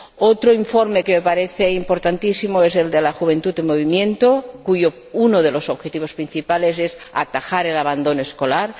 Otro informe que me parece importantísimo es el de la Juventud en Movimiento, uno de cuyos objetivos principales es atajar el abandono escolar.